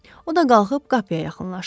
O da qalxıb qapıya yaxınlaşdı.